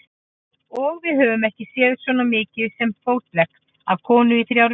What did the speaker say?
Og við höfum ekki séð svo mikið sem fótlegg af konu í þrjár vikur.